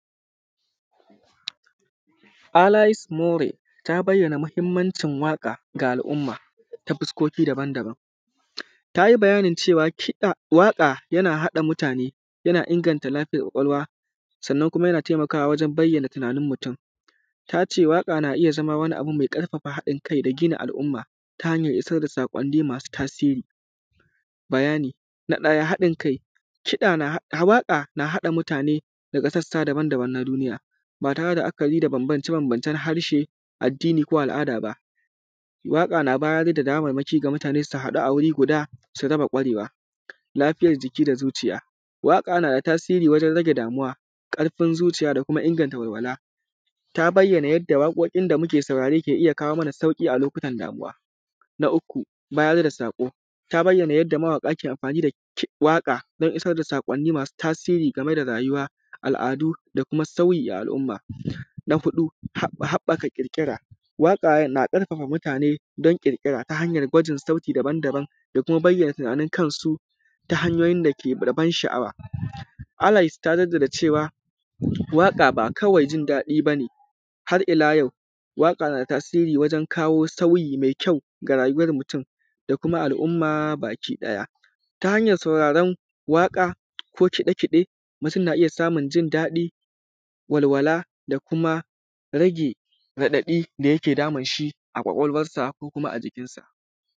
Alais more ta bayyana mahimmacin waka ga al’umma ta fannoni daban daban. Tayi bayanin cewa kiɗa waƙa yana haɗa mutane yana inganta lafiyar kwakwalwa, sannan kuma yana taimakawa wajen bayyana tunanin mutun. Tace waƙa na iyya zama wani abu mai ƙarfafa mutun da gina al’umma, ta hanyar issar da saƙonni masu tasiri, bayani. Na ɗaya haɗin kiɗa, waƙa na haɗa mutane daga sassa daban daban na duniya ba tare da la’akari da banbance banbancen harshe, addini ko ƙabila ba. Waƙa na bayar da damamaki ga mutane haɗu guri su raba ƙwarewa lafiyar jiki da zuciya, waƙa nada tasiri wajen rage danuwa, ƙarfin zuciya da kuma inganta walwala Ta bayyana yadda waƙoƙin da muke saurare ke iyya kawo mana sauƙi a lokutan damuwa. Na uku bayar da saƙo ta bayya yadda amfani da waƙa dan issar da saƙonni masu tasiri game da rayuwa, al’adu da kuma sauyi a al’umma. Na huɗu haɓɓaka ƙirƙira waƙa na ƙarfafa mutane dan ƙirƙira ta hanyan gwajin sauti daban daban da kuma bayyana tunanin kansu, ta hanyoyin dake da ban sha’awa. Alais ta jadda da cewa waƙa ba kawai jin daɗi bane, har’ila yau waƙa na tasiri wajen kawo sauyi mai kyau ga rayuwar mutun da kuma al’umma baki ɗaya. Ta hanyan sauraron waƙa ko kiɗe kiɗe mutun na iyya mutun na iyya samun jin daɗi, walwala da kuma rage raɗaɗi da yake damunshi a kwakwalwan sa kuma a jikin sa.